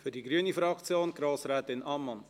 Für die grüne Fraktion: Grossrätin Ammann.